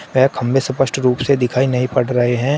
वे खंबे सपष्ट रूप से दिखाई नहीं पड़ रहे हैं।